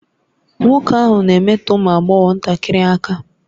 Nwoke ahụ na-emetọ ụmụ agbọghọ ntakịrị aka